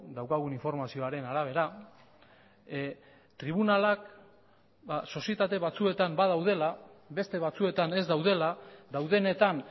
daukagun informazioaren arabera tribunalak sozietate batzuetan badaudela beste batzuetan ez daudela daudenetan